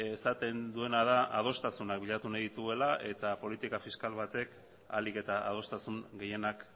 esaten duena da adostasuna bilatu nahi dituela eta politika fiskal batek ahalik eta adostasun gehienak